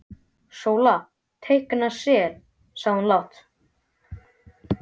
Sóla teikna sel, sagði hún lágt.